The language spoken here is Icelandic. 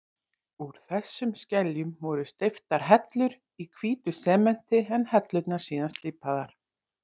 Úr þessum skeljum voru steyptar hellur í hvítu sementi, en hellurnar síðan slípaðar.